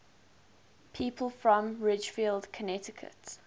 people from ridgefield connecticut